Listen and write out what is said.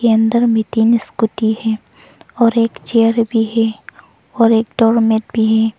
अंदर में तीन स्कूटी है और एक चेयर भी है और एक डोरमैट भी है।